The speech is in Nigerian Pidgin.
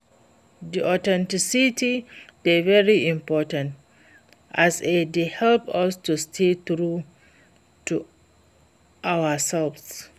Di authenticity dey very important, as e dey help us to stay true to ourselves.